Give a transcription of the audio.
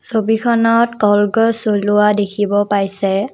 ছবিখনত কলগছ জ্বলোৱা দেখিব পাইছে।